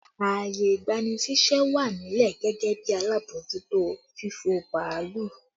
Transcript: Ààyè ìgbani ṣíṣẹ́ wà nílẹ̀ gẹ́gẹ́ bí alábòójútó fífò bàálù